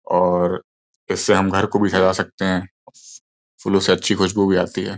और इससे हम घर को भी सजा सकते हैं फूल से अच्छी खुशबू भी आती है।